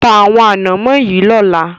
Ta àwọn ànámọ́ yìí lọ́la!